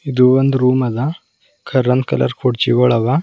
ಇದು ಒಂದು ರೂಮ್ ಅದ ಕರನ್ ಕಲರ್ ಕುರ್ಚಿಗುಳವ.